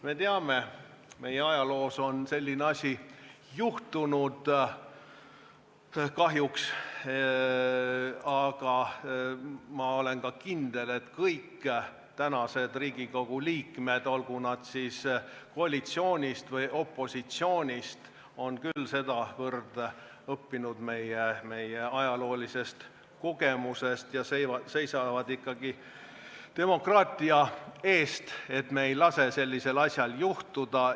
Me teame, et meie ajaloos on selline asi kahjuks juhtunud, aga ma olen ka kindel, et kõik tänased Riigikogu liikmed, olgu nad siis koalitsioonist või opositsioonist, on küll sedavõrd õppinud meie ajaloolisest kogemusest ja seisavad ikkagi demokraatia eest, nii et me ei lase sellisel asjal juhtuda.